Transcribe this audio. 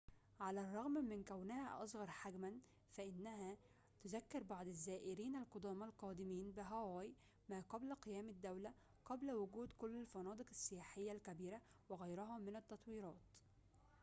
على الرغم من كونها أصغر حجماً فإنها تذكّر بعض الزائرين القدامى القادمين بهاواي ما قبل قيام الدولة قبل وجود كل الفنادق السياحية الكبيرة وغيرها من التطويرات